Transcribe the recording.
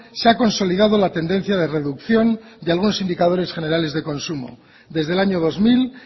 se ha consolidado la tendencia de reducción de algunos indicadores generales de consumo desde el año dos mil